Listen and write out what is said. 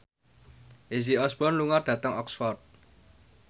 Izzy Osborne lunga dhateng Oxford